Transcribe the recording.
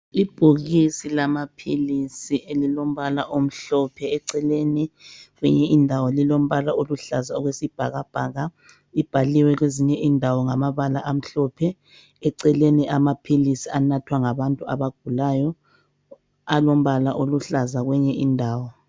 Ibhokisi lamaphilisi elilombala omhlophe eceleni, kwenye indawo lilombala oluhlaza okwesibhakabhaka, libhaliwe kwezinye indawo ngamabala amhlophe. Eceleni amaphilisi anathwa ngabantu abagulayo alombala oluhlaza kwenye indawo.